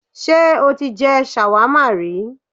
Sé o ti je shawarma ri?